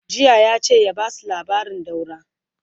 jiya yace ya Basu labarin daura!